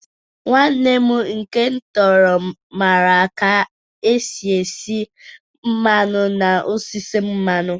Nwanne m nke m tọrọ mara ka esi esi mmanụ n'osisi mmanụ